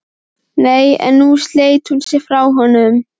Nei, nú sleit hún sig frá honum.